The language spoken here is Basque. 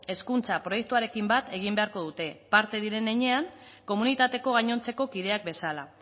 hezkuntza proiektuarekin bat egin beharko dute parte diren heinean komunitateko gainontzeko kideak bezala